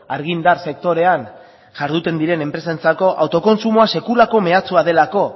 argindar sektorean jarduten diren enpresentzako autokontsumoa sekulako mehatxua delako